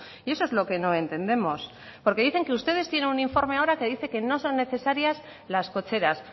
y eso es lo que no entendemos porque dicen que ustedes tienen un informe ahora que dice que no son necesarias las cocheras